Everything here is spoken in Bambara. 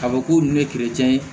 Ka fɔ k'u ni ye ye